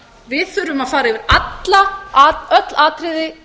við þurfum að fara yfir öll atriði